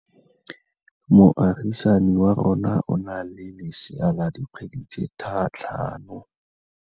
Moagisane wa rona o na le lesea la dikgwedi tse tlhano.